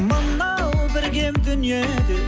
мынау бір кем дүниеде